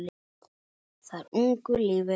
Þar ungu lífi landið mitt?